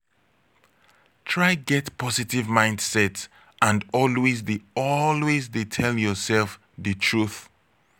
try get positive mindset and always de always de tell yourself di truth